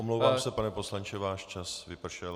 Omlouvám se, pane poslanče, váš čas vypršel.